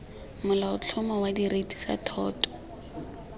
molaotlhomo wa direiti tsa thoto